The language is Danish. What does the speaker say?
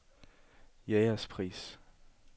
Jægerspris